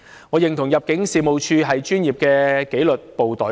我認同入境處是專業的紀律部隊。